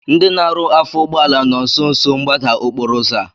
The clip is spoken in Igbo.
Ndị na-arụ afọ ụgbọala nọ nsonso mgbada okporo ụzọ a